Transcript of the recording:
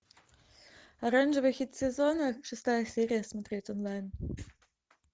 оранжевый хит сезона шестая серия смотреть онлайн